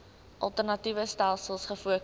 alternatiewe stelsels gefokus